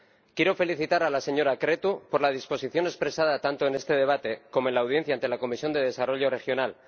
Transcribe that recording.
Quiero felicitar a la señora Creţu por la disposición expresada tanto en este debate como en la audiencia ante la Comisión de Desarrollo Regional.